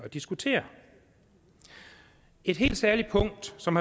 diskutere et helt særligt punkt som